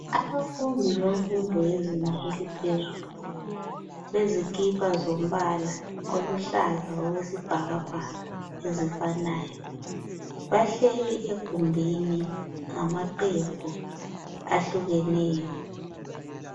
Abafundi bezinga eliphezulu bagqoke izikipa ezilombal oluhlaza okwesibhakabhaka ezifanayo. Bahleli egumbini ngamaqembu ahlukeneyo.